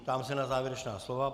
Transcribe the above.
Ptám se na závěrečná slova.